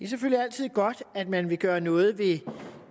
selvfølgelig altid godt at man vil gøre noget ved